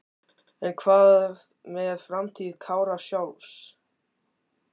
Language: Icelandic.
En hvað með framtíð Kára sjálfs?